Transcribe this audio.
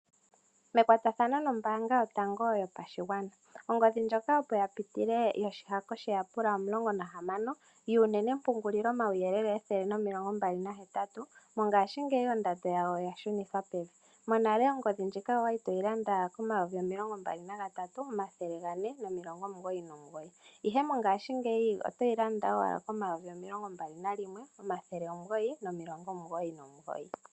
Mekwatathano nombaanga yotango yopashigwana, ongodhi ndjoka opo ya pitile yoshihako sheyapula omulongo nahamano yuunenempungulilomauyelele ethele nomilongo mbali nahetatu, monghashingeyi ondando yawo oya shunithwa pevi. Monale ongodhi ndjika owa li to yi landa N$ 23 499, ihe mongashingeyi oto yi landa owala koN$ 21 999.